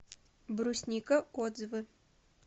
брусника отзывы